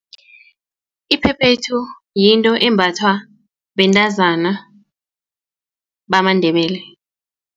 Iphephethu yinto embathwa bentazana bamaNdebele.